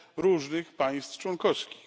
różnych państw członkowskich.